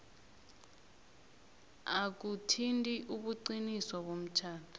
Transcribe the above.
akuthinti ubuqiniso bomtjhado